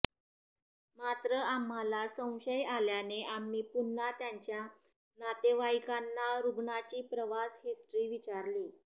मात्र आम्हाला संशय आल्याने आम्ही पुन्हा त्यांच्या नातेवाईकांना रुग्णाची प्रवास हिस्ट्री विचारली